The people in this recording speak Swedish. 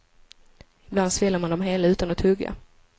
Ibland sväljer man dem hela utan att tugga.